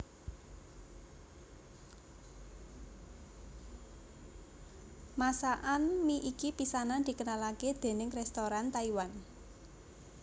Masakan mi iki pisanan dikenalake déning restoran Taiwan